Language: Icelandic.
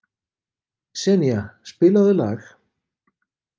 Senía, spilaðu lag.